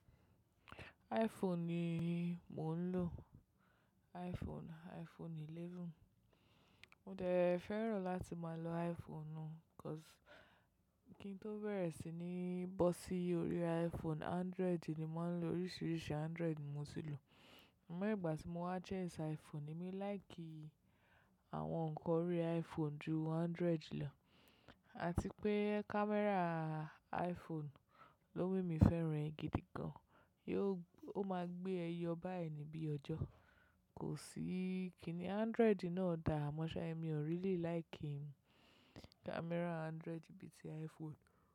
iPhone ni mo ń lò. iPhone, iPhone 11. Mo dẹ̀ fẹ́ràn láti máa lo iPhone, because, kí n tó bẹ̀rẹ̀ sí ní bọ́ sí orí iPhone, Android ni mo ń lò. Oríṣiríṣi Android ni mo ti lò. Ọ̀n mo ìgbà tí mo wá test iPhone emi like àwọn nǹkan orí iPhone ju Android lọ, àti pé camera iPhone ló wù mí fẹ́ràn gidi gan. Yo-- ó máa gbé ẹyọ báyẹn níbí ọjọ́. Kò sí, kí ni Android náà dà? Ama sa, mi ò really like camera Android bíi ti iPhone.